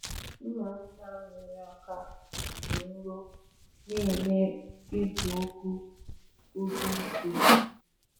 Mma mma nwere aka dị nro na-eme igwu ugwu ugwu mfe.